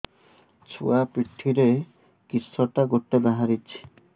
ଛୁଆ ପିଠିରେ କିଶଟା ଗୋଟେ ବାହାରିଛି